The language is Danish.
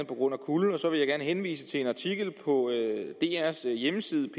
på grund af kulde og så vil jeg gerne henvise til en artikel på drs hjemmeside